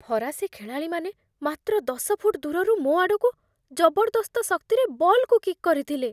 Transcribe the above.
ଫରାସୀ ଖେଳାଳିମାନେ ମାତ୍ର ଦଶ ଫୁଟ୍ ଦୂରରୁ ମୋ ଆଡ଼କୁ ଜବରଦସ୍ତ ଶକ୍ତିରେ ବଲ୍‌କୁ କିକ୍ କରିଥିଲେ।